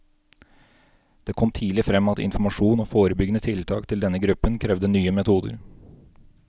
Det kom tidlig frem at informasjon og forebyggende tiltak til denne gruppen krevde nye metoder.